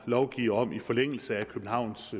lovgive om i forlængelse af københavns